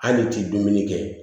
Hali ti dumuni kɛ